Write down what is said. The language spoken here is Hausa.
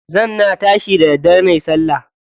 Zan na tashi da daddare nayi salla.